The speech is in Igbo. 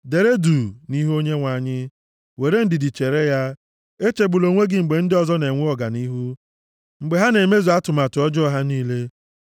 Dere duu nʼihu Onyenwe anyị, were ndidi chere ya; echegbula onwe gị mgbe ndị ọzọ na-enwe ọganihu, mgbe ha na-emezu atụmatụ ọjọọ ha niile.